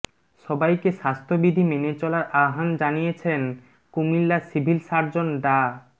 সবাইকে স্বাস্থ্যবিধি মেনে চলার আহ্বান জানিয়েছেন কুমিল্লা সিভিল সার্জন ডা